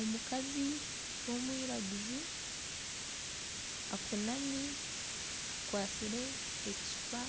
Omukazi w'omwiraguju ainami akwatsire ekicupa